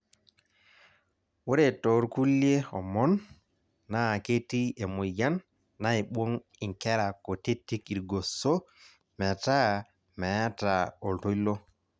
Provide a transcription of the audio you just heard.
ore too kulie omon naa ketii emoyian naibung' inkera kutitik irgoso metaa meeta oltoilo.